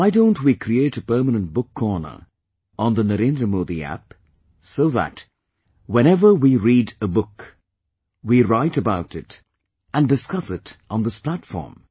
Why don't we create a permanent book corner on the Narendra Modi App, so that, whenever we read a book, we write about it and discuss it on this platform